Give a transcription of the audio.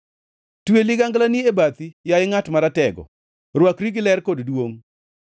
Twe liganglani e bathi, yaye ngʼat maratego; rwakri gi ler kod duongʼ.